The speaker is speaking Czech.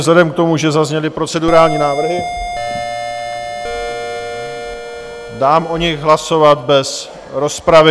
Vzhledem k tomu, že zazněly procedurální návrhy, dám o nich hlasovat bez rozpravy.